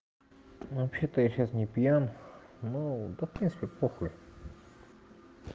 вообще-то я сейчас не пьян ну да в принципе похуй